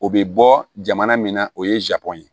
O bɛ bɔ jamana min na o ye zago ye